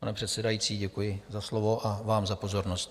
Pane předsedající, děkuji za slovo a vám za pozornost.